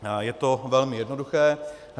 Je to velmi jednoduché.